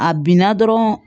A binna dɔrɔn